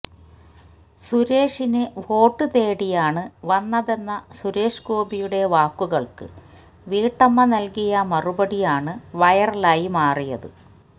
സുരേഷിന് വോട്ട് തേടിയാണ് വന്നതെന്ന സുരേഷ് ഗോപിയുടെ വാക്കുകൾക്ക് വീട്ടമ്മ നൽകിയ മറുപടിയാണ് വൈറലായി മാറിയത്